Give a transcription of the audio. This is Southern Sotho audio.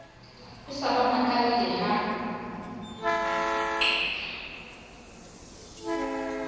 a sa ba makalle ha